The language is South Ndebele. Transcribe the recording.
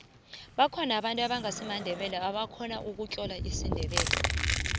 bakhona abantu ebangasimandebele ebakhona ukutlola isindebele